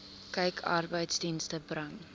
kyk arbeidsdienste bring